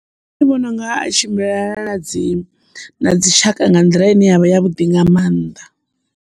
Nṋe ndi vhona unga tshimbilelana na dzi dzi tshaka nga nḓila ine yavha ya vhuḓi nga mannḓa.